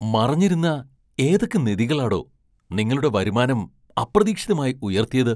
മറഞ്ഞിരുന്ന ഏതൊക്കെ നിധികളാടോ നിങ്ങളുടെ വരുമാനം അപ്രതീക്ഷിതമായി ഉയർത്തിയത് ?